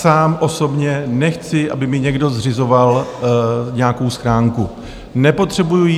Sám osobně nechci, aby mi někdo zřizoval nějakou schránku, nepotřebuji ji.